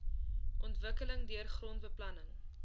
ontwikkeling deur grondbeplanning